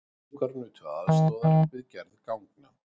Fangar nutu aðstoðar við gerð ganga